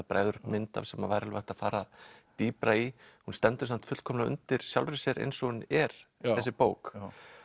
bregður upp mynd af sem væri hægt að fara dýpra í hún stendur samt fullkomlega undir sjálfri sér eins og hún er þessi bók